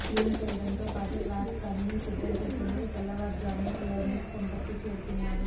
clean చేయడంతో పాటు క్లాస్కు అన్నీ సిద్ధం చేసేందుకు తెల్లవారుజామను లెర్నింగ్ సెంటర్కు చేరుకున్నారు